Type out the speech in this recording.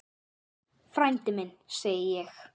Frændi minn, segi ég.